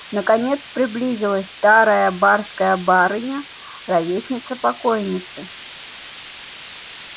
наконец приблизилась старая барская барыня ровесница покойницы